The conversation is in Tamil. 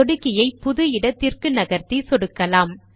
சொடுக்கியை புது இடத்திற்கு நகர்த்தி சொடுக்கலாம்